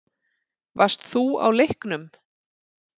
Varst þú á leiknum?